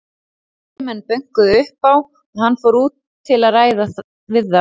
Tveir menn bönkuðu upp á og hann fór út til að ræða við þá.